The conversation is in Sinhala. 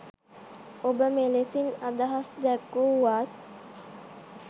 ඔබ මෙලෙසින් අදහස් දැක්වුවත්